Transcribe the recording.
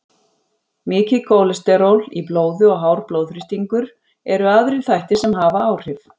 Mikið kólesteról í blóði og hár blóðþrýstingur eru aðrir þættir sem hafa áhrif.